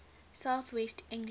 south west england